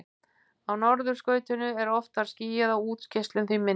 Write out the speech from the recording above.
Á norðurskautinu er oftar skýjað og útgeislun því minni.